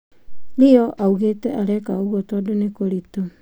Rio augĩte areka ũguo tondũ nĩ kũritũ.